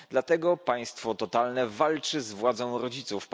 Dlatego państwo totalne walczy z władzą rodziców.